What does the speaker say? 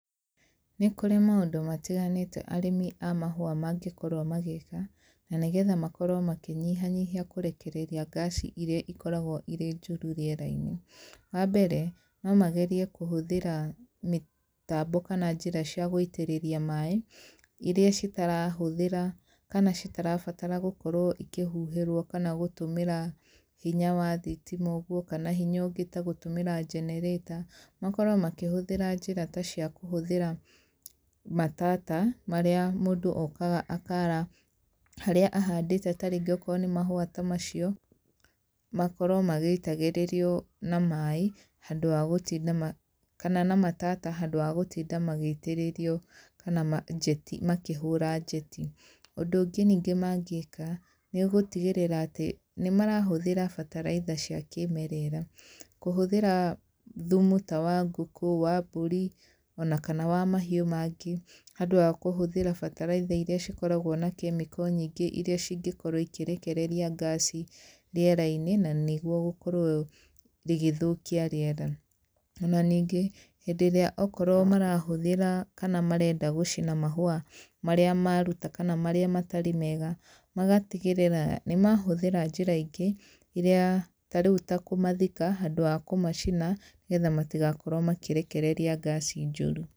Nĩ kũrĩ maũndũ matiganĩte arĩmi a mahũa mangĩkorwo magĩka na nĩgetha makorwo makĩnyihanyiha kũrekereria ngaci iria ikoragwo irĩ njũru rĩera-inĩ. Wambere no magerie kũhũthĩra mĩtambo kana njĩra cia gũitĩrĩria maĩ iria citarahũthĩra kana citirabatara gũkorwo ikĩhuhĩrwo kana gũtũmĩra hinya wa thitima ũguo kana hinya ũngĩ ta gũtũmĩra generator, makorwo makĩhũthĩra njĩra ta cia kũhũthĩra matata marĩa mũndũ okaga akara harĩa ahandĩte tarĩngĩ okorwo nĩ mahũa ta macio makorwo magĩitagĩrĩrio na maĩ kana na matata handũ ha gũtinda magĩitĩrĩrio kana makĩhũra njeti. Ũndũ ũngĩ ningĩ mangĩka nĩ gũtigĩrĩra atĩ nĩ marahũthĩra mbataraitha cia kĩmerera, kũhũthĩra thumu ta wa ngũkũ, wa mbũri ona kana wa mahiũ mangĩ handũ ha kũhuthĩra mbataraitha iria ikoragwo na kemiko nyingĩ iria ingĩkorwo ikĩrekereria ngaci rĩera-inĩ na nĩguo gũkorwo rĩgĩthokia rĩera, ona ningĩ hĩndĩ ĩrĩa okorwo marahũthĩra kana marenda gũcina mahũa marĩa maruta kana marĩa matarĩ mega magatigĩrĩra nĩ mahũthĩra njĩra ingĩ iria ta rĩu kũmathika handũ ha kũmacina ,nĩgetha matigakorwo makĩrekereria ngaci njũru.